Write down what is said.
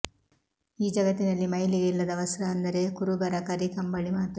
ಈ ಜಗತ್ತಿನಲ್ಲಿ ಮೈಲಿಗೆ ಇಲ್ಲದ ವಸ್ತ್ರ ಅಂದರೆ ಕುರುಬರ ಕರಿ ಕಂಬಳಿ ಮಾತ್ರ